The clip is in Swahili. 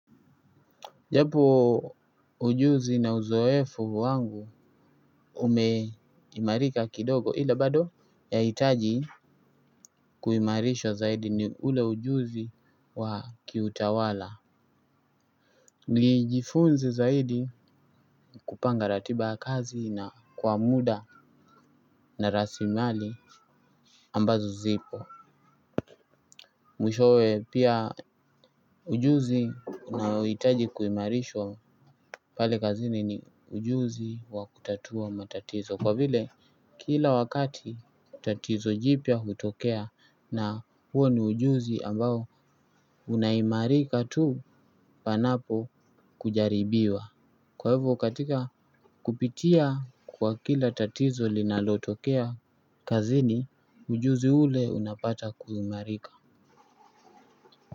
Japo ujuzi na uzoefu wangu umeimarika kidogo ila bado yahitaji kuimarishwa zaidi ni ule ujuzi wa kiutawala nijifunze zaidi kupanga ratiba ya kazi na kwa muda na rasilimali ambazo zipo. Mwishowe pia ujuzi naohitaji kuimarishwa pale kazini ni ujuzi wa kutatua matatizo kwa vile kila wakati tatizo jipya hutokea na huo ni ujuzi ambao unaimarika tu panapo kujaribiwa kwa hivo katika kupitia kwa kila tatizo linalotokea kazini ujuzi ule unapata kuimarika.